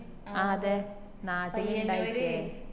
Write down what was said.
ആ അതെ നാട്ടില് ഇണ്ടായിട്ടില്ലേ